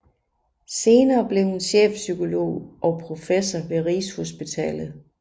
Senere blev hun chefpsykolog og professor ved Rigshospitalet